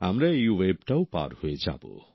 আমরা এই ওয়েভটাও পার হয়ে যাব